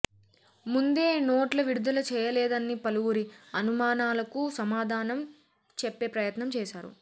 ముందే నోట్ల విడుదల చేయలేదన్న పలువురి అనుమానాలకు సమాధానం చెప్పే ప్రయత్నం చేశారు